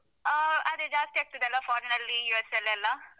ಅಹ್ ಅದೇ ಜಾಸ್ತಿ ಆಗ್ತದಲ್ಲಾ foreign ನಲ್ಲಿ US ಅಲ್ಲೆಲ್ಲಾ?